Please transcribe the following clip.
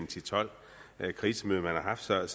til tolv krisemøder man har haft så jeg